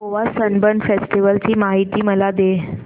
Goa Sunburn festival ची माहिती मला दे